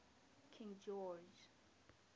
king george